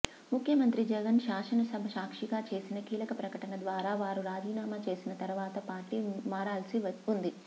ముఖ్యమంత్రి జగన్ శాసనసభ సాక్షిగా చేసిన కీలక ప్రకటన ద్వారా వారు రాజీనామా చేసిన తరువాత పార్టీ మారాల్సి ఉంది